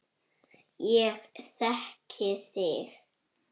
Ég þekki þig